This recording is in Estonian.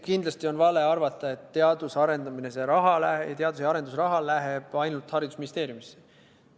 Kindlasti on vale arvata, et teadus- ja arendustegevuse raha läheb ainult Haridus- ja Teadusministeeriumisse.